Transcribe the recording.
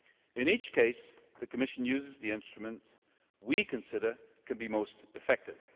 In each case the Commission uses the instruments that we consider can be most effective.